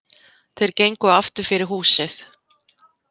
Þeir gengu aftur fyrir húsið.